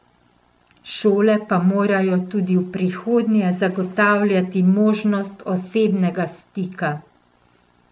Šole pa morajo tudi v prihodnje zagotavljati možnost osebnega stika.